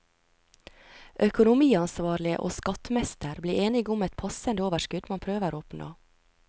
Økonomiansvarlig og skattmester blir enige om et passende overskudd man prøver å oppnå.